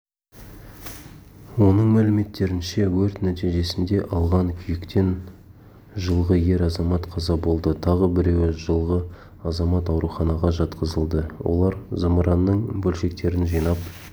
оның мәліметтерінше өрт нәтижесінде алған күйіктен жылғы ер азамат қаза болды тағы біреуі жылғы азамат ауруханаға жатқызылды олар зымыранның бөлшектерін жинап